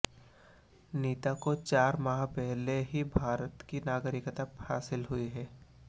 नीता को चार माह पहले ही भारत की नागरिकता हासिल हुई है